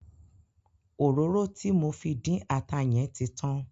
Òróró tí mo fi dín ata yẹn ti tan.